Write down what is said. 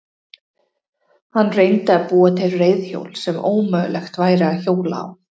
Hann reyndi að búa til reiðhjól sem ómögulegt væri að hjóla á.